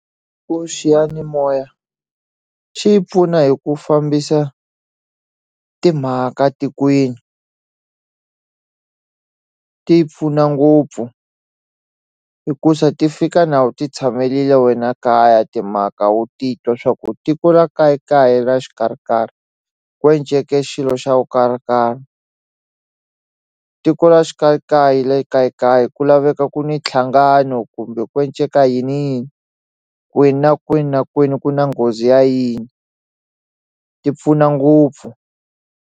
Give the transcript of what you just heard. Ku xiyanimoya xi yi pfuna hi ku fambisa timhaka tikweni ti pfuna ngopfu hikusa ti fika na u ti tshamelile wena kaya timhaka wu titwa swa ku tiko ra ka yi ka yi ra xi karhikarhi ku enceke tiko ra xi ka yi ka yi la yi ku laveka ku ni tlhangano kumbe ku yini yini kwini na kwini na kwini ku na nghozi ya yini ti pfuna ngopfu.